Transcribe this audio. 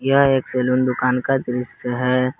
यह एक सैलून दुकान का दृश्य है।